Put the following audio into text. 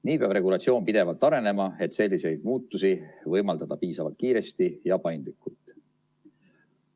Nii peab regulatsioon pidevalt arenema, et selliseid muutusi võimaldada piisavalt kiiresti ja paindlikult.